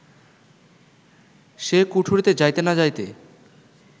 সে কুঠরিতে যাইতে-না-যাইতে